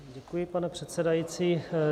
Děkuji, pane předsedající.